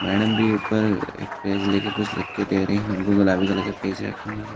madam भी ऊपर एक पेज लेके कुछ लिखके दे रही है उनको गुलाबी कलर का पेज रखे हुए--